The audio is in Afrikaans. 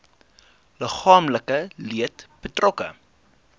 liggaamlike leed betrokke